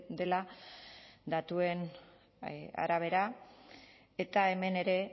dela datuen arabera eta hemen ere